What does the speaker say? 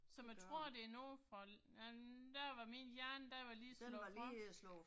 Så man tror det er noget fra øh der var min hjerne, den var lige slået fra